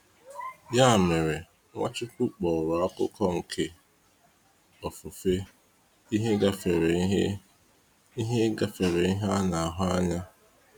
Ya mere, Nwachukwu kpọrọ akụkụ nke ofufe ihe gafere ihe ihe gafere ihe ana ahụ anya.